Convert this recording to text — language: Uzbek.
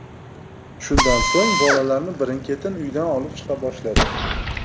Shundan so‘ng bolalarni birin-ketin uydan olib chiqa boshladi.